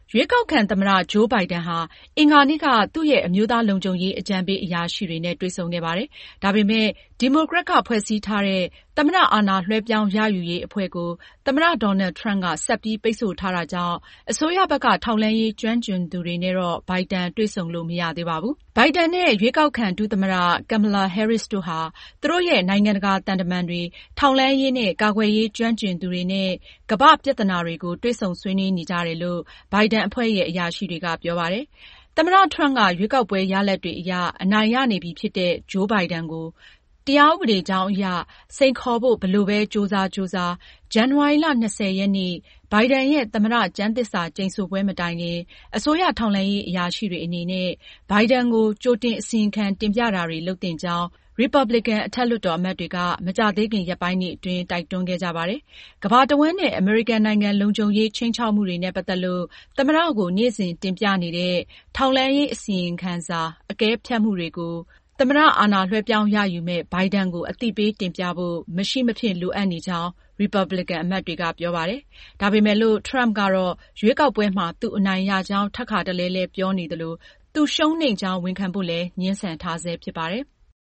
ရွေးကောက်ခံ သမ္မတ Joe Biden ဟာ အင်္ဂါနေ့က သူရဲ့ အမျိုးသားလုံခြုံရေး အကြံပေးအရာရှိတွေနဲ့ တွေ့ဆုံခဲ့ပါတယ်။ ဒါပေမဲ့ဒီမိုကရက် ကဖွဲ့စည်းထားတဲ့ သမ္မအာဏာ လွှဲပြောင်းရယူရေးအဖွဲ့ ကို သမ္မတ Donald Trump က ဆက်ပြီးပိတ်ဆို့ထားတာကြောင့် အစိုးရဘက်က ထောက်လှမ်းရေး ကျွမ်းကျင်သူတွေနဲ့Biden တွေ့ဆုံလို့ မရသေးပါဘူး။ Biden နဲ့ ရွေးကောက်ခံ ဒုသမ္မတ Kamala Harris တို့ဟာ သူတို့ရဲ့ နိုင်ငံတကာ သံတမန်တွေ၊ထောက်လှမ်းရေးနဲ့ ကာကွယ်ရေး ကျွမ်းကျင်သူတွေနဲ့ ကမ္ဘာ့ပြဿနာတွေကို တွေ့ဆုံဆွေးနွေးနေကြတယ်လို့ Biden အဖွဲ့ရဲ့ အရာရှိတွေက ပြောပါတယ်။ သမ္မတ Trump က ရွေးကောက်ပွဲရလဒ်တွေအရ အနိုင်ရနေပြီဖြစ်တဲ့ Joe Biden ကို တရားဥပဒေကြောင်းအရ စိန်ခေါ်ဖို့ ဘယ်လိုပဲ ကြိုးစားကြိုးစား၊ ဇန်နဝါရီ ၂၀ ရက်နေ့ Biden ရဲ့ သမ္မတ ကျမ်းသစ္စာကျိန်ဆိုပွဲမတိုင်ခင် အစိုးရ ထောက်လှမ်းရေး အရာရှိတွေအနေနဲ့Biden ကိုကြိုတင် အစီရင်ခံတင်ပြတာတွေ လုပ်သင့်ကြောင်း ရီပါပလင်ကန်လွှတ်တော်အမတ်တွေက မကြာသေးခင် ရက်ပိုင်းတွေအတွင်း တိုက်တွန်းခဲ့ကြပါတယ်။ ကမ္ဘာတဝှမ်းနဲ့အမေရိကန်နိုင်ငံ လုံခြုံရေး ခြိမ်းခြောက်မှုတွေနဲ့ပတ်သက်လို့ သမ္မတကို နေ့စဉ်တင်ပြနေတဲ့ ထောက်လှမ်းရေးအစီရင်ခံစာ အကဲဖြတ်မှုတွေကို သမ္မတ အာဏာလွဲှပြောင်းရယူမယ့် Biden ကို အသိပေး တင်ပြဖို့ မရှိမဖြစ် လိုအပ်နေကြောင်း ရီပါပလင်ကန်အမတ်တွေက ပြောပါတယ်။ ဒါပေမယ်လို့ Trump က ရွေးကောက်ပွဲမှာ သူအနိုင်ရကြောင်း ထပ်ခါတလဲလဲပြောနေသလို၊ သူရှုံးနိမ့်ကြောင်း ဝန်ခံဖို့လည်း ငြင်းဆန်ထားဆဲဖြစ်ပါတယ်။